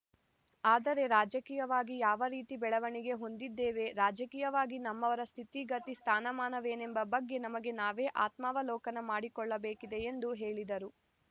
ಆದರೆ ರಾಜಕೀಯವಾಗಿ ಯಾವ ರೀತಿ ಬೆಳವಣಿಗೆ ಹೊಂದಿದ್ದೇವೆ ರಾಜಕೀಯವಾಗಿ ನಮ್ಮವರ ಸ್ಥಿತಿಗತಿ ಸ್ಥಾನಮಾನವೇನೆಂಬ ಬಗ್ಗೆ ನಮಗೆ ನಾವೇ ಆತ್ಮಾವಲೋಕನ ಮಾಡಿಕೊಳ್ಳಬೇಕಿದೆ ಎಂದು ಹೇಳಿದರು